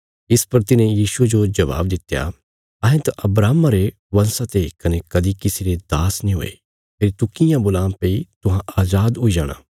इस पर तिन्हे यीशुये जो जबाब दित्या अहें त अब्राहमा रे बंशा ते कने कदीं किसी रे दास नीं हुये फेरी तू कियां बोलां भई तुहां अजाद हुई जाणा